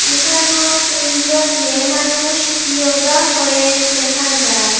এখানো তিনজন মেয়ে মানুষ ইয়োগা করের দেখা যার।